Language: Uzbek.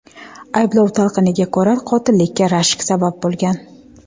Ayblov talqiniga ko‘ra, qotillikka rashk sabab bo‘lgan.